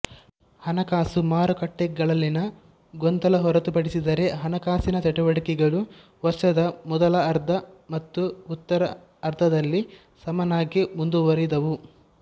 ಹಣಕಾಸು ಮಾರುಕಟ್ಟೆಗಳಲ್ಲಿನ ಗೊಂದಲ ಹೊರತುಪಡಿಸಿದರೆ ಹಣಕಾಸಿನ ಚಟುವಟಿಕೆಗಳು ವರ್ಷದ ಮೊದಲಾರ್ಧ ಮತ್ತು ಉತ್ತರಾರ್ಧದಲ್ಲಿ ಸಮನಾಗಿ ಮುಂದುವರಿದವು